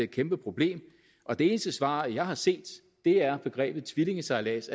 kæmpeproblem og det eneste svar jeg har set er begrebet tvillingesejlads